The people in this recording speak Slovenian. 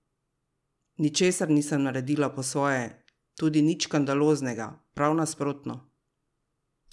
Ničesar nisem naredila po svoje, tudi nič škandaloznega, prav nasprotno!